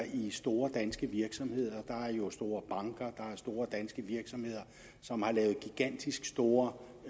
i store danske virksomheder der er jo store banker der er store danske virksomheder som har lavet gigantisk store